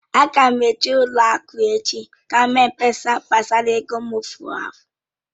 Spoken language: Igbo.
Ága m eji n'ụlọ akụ echi gaa mee mkpesa gbasara ego m fụrụ efu